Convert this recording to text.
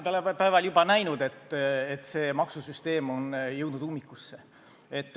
Me oleme juba näinud, et see maksusüsteem on jõudnud ummikusse.